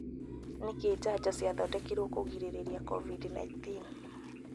Nĩ kĩ njanjo ciathondekirwo kugirĩrĩria Covid-19